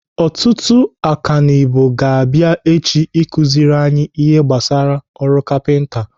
Ọtụtụ ọkanibo ga-abịa echi ịkụziri anyị ihe gbasara ọrụ kapinta.